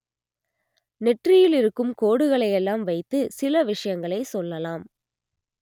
நெற்றியில் இருக்கும் கோடுகளையெல்லாம் வைத்து சில விஷயங்களை சொல்லலாம்